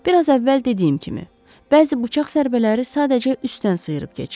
Bir az əvvəl dediyim kimi, bəzi bıçaq zərbələri sadəcə üstdən sıyırıb keçib.